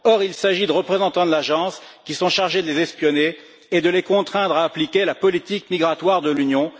Or, il s'agit de représentants de l'agence qui sont chargés de les espionner et de les contraindre à appliquer la politique migratoire de l'Union.